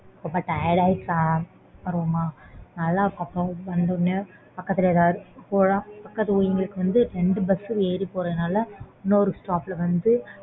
ரொம்ப tired ஆகி வருவோமா நல்ல இருக்கும் அப்புறம் வந்த ஒடனே பக்கத்துல ஏதாவது பக்கத்துக்கு ஊருக்கு வந்து ரெண்டு bus ஏறி போறதுனால இன்னொரு stop ல வந்து